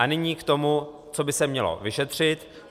A nyní k tomu, co by se mělo vyšetřit.